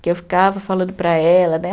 Que eu ficava falando para ela, né?